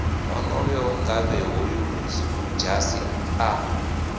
onoyo ngavhe hoyu ludzhasi a